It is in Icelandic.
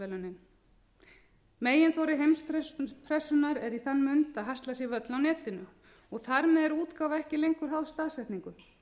hasla sér völl á netinu og þar með er útgáfa ekki lengur háð staðsetningu